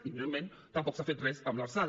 i evidentment tampoc s’ha fet res amb l’lrsal